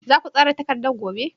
Za ku tsara takardar gobe?